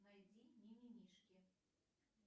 найди мимимишки